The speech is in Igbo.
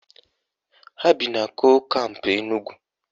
Ha bi na kol kampụ Enugwu